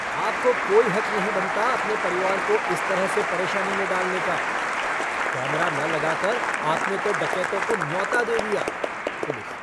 आपको कोई हक नहीं बनता अपने परिवार को इस तरह से परेशानी में डालने का। कैमरा न लगा कर आपने तो डकैतों को न्योता दे दिया। पुलिस